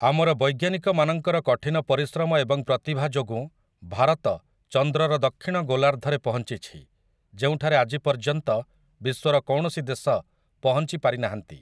ଆମର ବୈଜ୍ଞାନିକମାନଙ୍କର କଠିନ ପରିଶ୍ରମ ଏବଂ ପ୍ରତିଭା ଯୋଗୁଁ ଭାରତ, ଚନ୍ଦ୍ରର ଦକ୍ଷିଣ ଗୋଲାର୍ଦ୍ଧରେ ପହଞ୍ଚିଛି, ଯେଉଁଠାରେ ଆଜି ପର୍ଯ୍ୟନ୍ତ ବିଶ୍ୱର କୌଣସି ଦେଶ ପହଞ୍ଚି ପାରି ନାହାଁନ୍ତି ।